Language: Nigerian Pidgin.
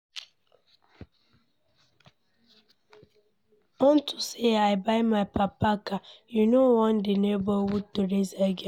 Unto say I buy my papa car he no wan the neighborhood to rest again